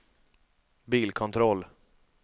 bilkontroll